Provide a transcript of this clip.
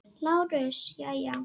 LÁRUS: Jæja?